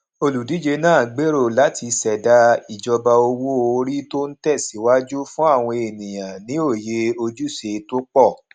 olùdíje náà gbèrò láti ṣẹdá ìjọba owó orí tó ń tẹsíwájú fún àwọn ènìyàn ní òye ojúṣe tó pọ